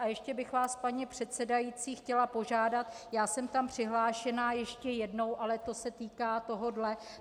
A ještě bych vás, paní předsedající, chtěla požádat - já jsem tam přihlášená ještě jednou, ale to se týká tohoto.